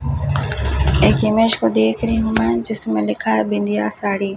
एक इमेज को देख रही हूं मैं जिसमें लिखा है बिंदिया साड़ी।